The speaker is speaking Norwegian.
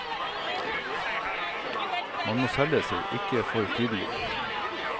Man må selge seg, men ikke for tydelig.